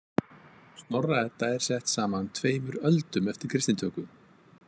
Snorra- Edda er sett saman tveimur öldum eftir kristnitöku.